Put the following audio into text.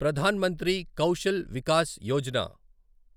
Pradhan Mantri Kaushal Vikas Yojana